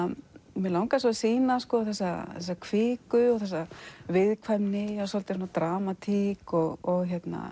mig langaði svo að sýna þessa kviku og þessa viðkvæmni dramatík og